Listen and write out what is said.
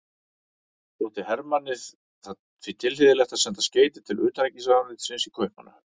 Þótti Hermanni því tilhlýðilegt að senda skeyti til utanríkisráðuneytisins í Kaupmannahöfn.